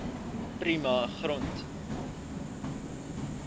prima grond